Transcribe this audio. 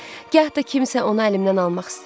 gah da kimsə onu əlimdən almaq istəyir.